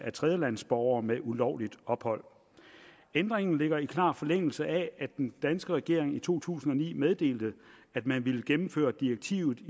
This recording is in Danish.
af tredjelandsstatsborgere med ulovligt ophold ændringen ligger i klar forlængelse af at den danske regering i to tusind og ni meddelte at man ville gennemføre direktivet